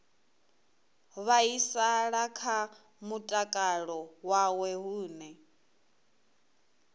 vhaisala kha mutakalo wawe hune